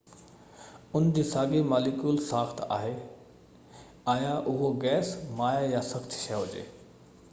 ان جي ساڳي ماليڪيولر ساخت آهي آيا اهو گئس مائع يا سخت شئي هجي